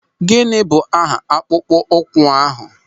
Gịnị bụ aha akpụkpọ ụkwụ ahụ?